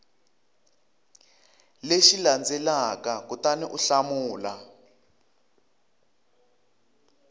lexi landzelaka kutani u hlamula